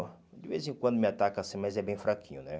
De vez em quando me ataca assim, mas é bem fraquinho, né?